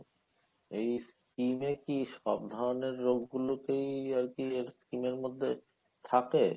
এই skim এ কি সব ধরণের রোগ গুলোতেই আরকি এ skim এর মধ্যে থাকে?